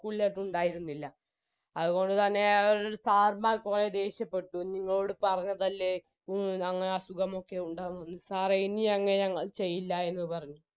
school ലേക്കുണ്ടായിരുന്നില്ല അത്കൊണ്ട് തന്നെ അവരെടു sir മ്മാർ കുറെ ദേഷ്യപ്പെട്ടു നിങ്ങളോട് പറഞ്ഞതല്ലേ ഇ അങ്ങനെ അസുഖമൊക്കെ ഉണ്ടാകുമെന്ന് sir എ ഇനി അങ്ങനെ ചെയ്യില്ല എന്ന് പറഞ്ഞു